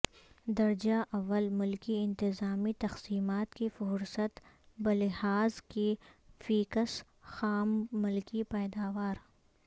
درجہ اول ملکی انتظامی تقسیمات کی فہرست بلحاظ فی کس خام ملکی پیداوار